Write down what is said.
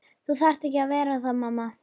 Þú þarft ekki að vera það mamma.